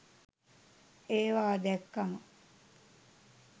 ඒවා දැක්කම